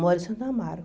Mora em Santo Amaro.